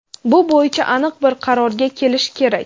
Bu bo‘yicha aniq bir qarorga kelish kerak.